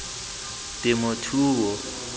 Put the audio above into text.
temothuo